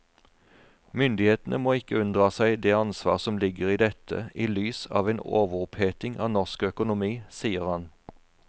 Myndighetene må ikke unndra seg det ansvar som ligger i dette i lys av en overoppheting av norsk økonomi, sier han.